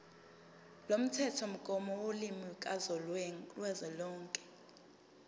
lomthethomgomo wolimi kazwelonke